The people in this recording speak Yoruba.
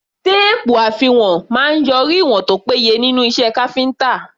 Téèpù àfiwọ̀n máa ń yọrí ìwọ̀n tó péye nínú iṣẹ́ káfíńtà.